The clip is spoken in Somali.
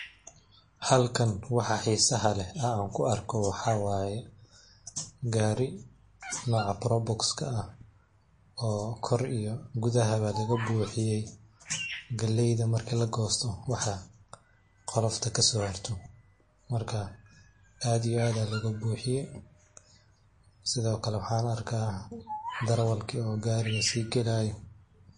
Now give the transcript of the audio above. Halkan waxa xisaha leh an ku arke waxa wayeh gari noca probox ah, oo kor iyo gudahabo lagabuxuxiye galeyda marki lagosto waxa qolofta kaso harto marka aad iyo aad ayan ologabuxiye, sidiokale waxan arks darawalka oo gariga si gahayo.